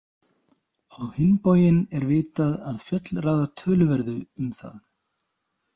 Á hinn bóginn er vitað að fjöll ráða töluverðu um það.